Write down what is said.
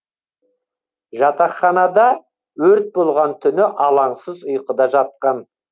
жатақханада өрт болған түні алаңсыз ұйқыда жатқан